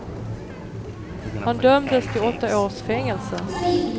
Han dömdes till åtta års fängelse.